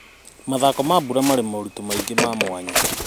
Mathako ma mbura marĩ moritũ maingĩ wa mwanya.